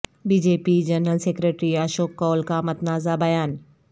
be J P general secretary Ashok Koul کا متنازعہ بیان